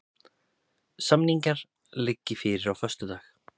Samningar liggi fyrir á föstudag